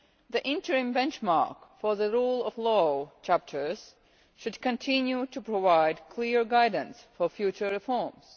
The interim benchmark for the rule of law chapters should continue to provide clear guidance for future reforms.